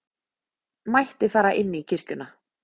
mætti fara inn í kirkjuna.